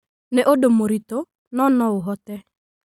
Nĩ ũndũ mũritũ, no no ũhote